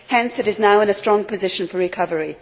Hence, it is now in a strong position for recovery.